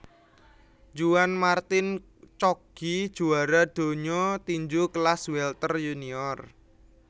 Juan Martin Coggi juwara donya tinju kelas welter yunior